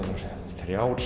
þrjár